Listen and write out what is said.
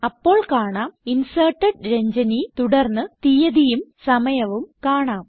അപ്പോൾ കാണാം inserted Ranjani തുടർന്ന് തീയതിയും സമയവും കാണാം